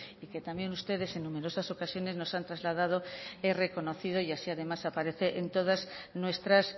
y que también ustedes en numerosas ocasiones nos han trasladado he reconocido y así además aparece en todas nuestras